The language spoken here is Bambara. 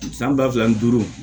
San ba fila ni duuru